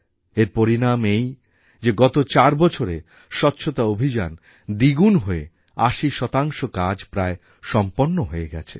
এর পরিণাম এই যে গত চার বছরে স্বচ্ছতা অভিযান দ্বিগুণ হয়ে আশি শতাংশ কাজ প্রায় সম্পন্ন হয়ে গেছে